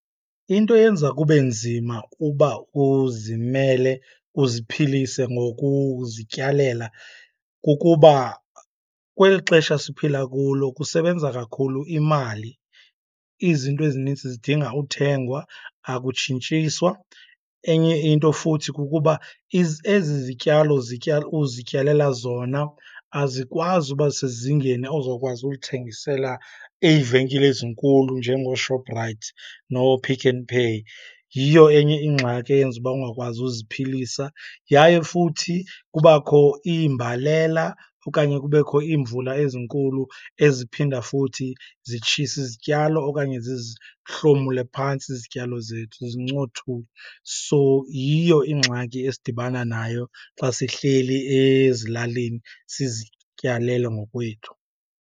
Into eyenza kube nzima uba uzimele uziphilise ngokuzityalela kukuba kweli xesha siphila kulo, kusebenza kakhulu imali. Izinto ezinintsi zidinga uthengwa, akutshintshiswa. Enye into futhi kukuba ezi zityalo uzityalela zona azikwazi uba sezingeni ozokwazi ulithengisela iivenkile ezinkulu njengooShoprite nooPick 'n Pay, yiyo enye ingxaki eyenza uba ungakwazi uziphilisa. Yaye futhi kubakho iimbalela okanye kubekho iimvula ezinkulu eziphinda futhi zitshise izityalo okanye zizihlomule phantsi izityalo zethu, zizincothule. So, yiyo ingxaki esidibana nayo xa sihleli ezilalini sizityalelo ngokwethu.